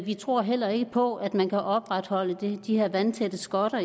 vi tror heller ikke på at man kan opretholde de her vandtætte skotter